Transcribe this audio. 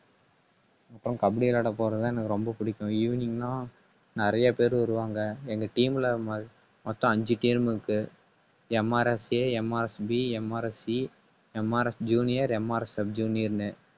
அப்புறம் கபடி விளையாட போறது தான் எனக்கு ரொம்ப பிடிக்கும். evening னா நிறைய பேர் வருவாங்க. எங்க team ல மொ~ மொத்தம் அஞ்சு team இருக்கு MRSAMRSBMRSCMRSjuniorMRSsub junior ன்னு